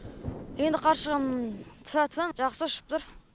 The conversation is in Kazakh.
енді қаршығам тфә тфә жақсы ұшып тұр